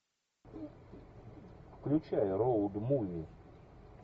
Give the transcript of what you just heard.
включай роуд муви